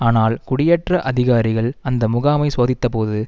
ஆனால் குடியேற்ற அதிகாரிகள் அந்த முகாமைச் சோதித்தபோது